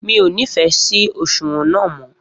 Mi o ni fẹ sí òṣùwọ̀n náà mọ